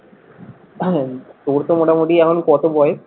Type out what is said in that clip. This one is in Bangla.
তোর তো মোটামোটি এখন কত বয়েস?